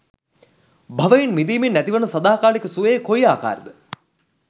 භවයෙන් මිදීමෙන් ඇතිවන සදාකාලික සුවය කොයි ආකාර ද?